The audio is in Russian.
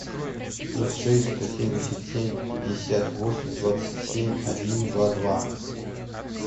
плюс шесть сто семьдесят семь пятьдесят восемь двадцать семь один два два